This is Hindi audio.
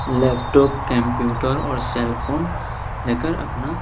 लैपटॉप कंप्यूटर और सेल फोन लेकर अपना--